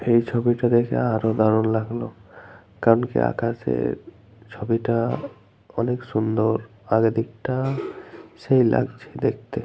এই ছবিটা দেখে আরো দারুন লাগলো। কারণ কি ছবিটা আকাশের ছবিটা অনেক সুন্দর। আর এদিকটা সেই লাগছে দেখতে।